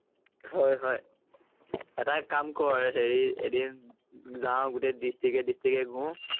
হয় হয়। এটা কাম কৰ, হেৰি এদিন যাওঁ গোটেই ডিচট্ৰিক্টে ডিচট্ৰিক্টে ঘূৰো